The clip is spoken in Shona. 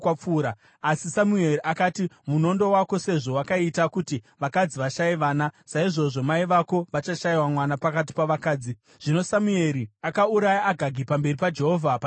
Asi Samueri akati, “Munondo wako sezvo wakaita kuti vakadzi vashaye vana, saizvozvo mai vako vachashayiwa mwana pakati pavakadzi.” Zvino Samueri akauraya Agagi pamberi paJehovha paGirigari.